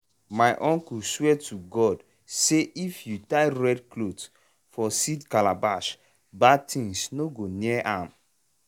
my uncle swear to god say if you tie red cloth for seed calabash bad thing no go near am.